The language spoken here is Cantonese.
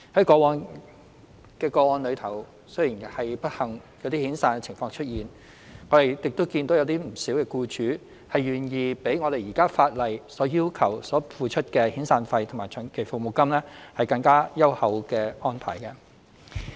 過往的個案雖然不幸出現遣散僱員的情況，但亦見到不少僱主願意作出較現時法例要求的遣散費及長期服務金更優厚的安排。